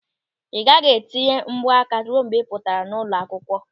Ị gaghị eteju mbọ aka ruo mgbe ị pụtara n'ụlọ akwụkwọ.